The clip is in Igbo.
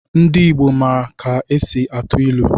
Ndi Igbo ma ka e si atụ ilu.